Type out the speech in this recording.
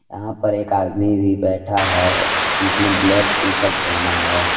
यहां पर एक आदमी भी बैठा है जिसने ब्लैक टी शर्ट पहना है।